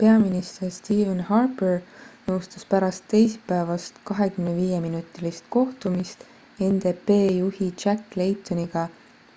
peaminister stephen harper nõustus pärast teisipäevast 25-minutilist kohtumist ndp juhi jack laytoniga